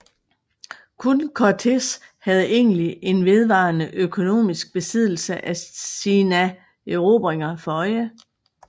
Kun Cortés havde egentlig en vedvarende økonomisk besiddelse af sina erobringer for øje